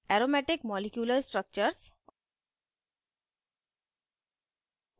aromatic molecular structures